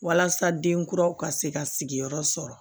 Walasa denkuraw ka se ka sigiyɔrɔ sɔrɔ